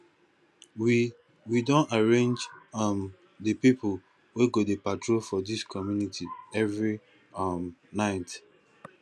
we we don arrange um di pipo wey go dey patrol for dis community every um night